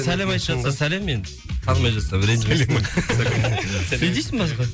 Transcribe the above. сәлем айтып жатса сәлем енді танымай жатсам ренжімесін